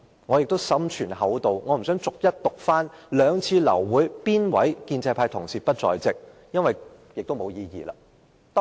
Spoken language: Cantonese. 我心存厚道，不想逐一讀出哪位建制派同事於兩次流會之時缺席，因為根本沒有意義。